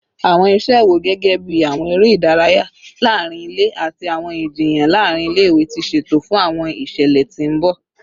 Awọn iṣẹ wo, gẹgẹbi awọn ere idaraya laarin ile ati awọn ijiyan laarin ile-iwe, ti ṣeto fun awọn iṣẹlẹ ti n bọ?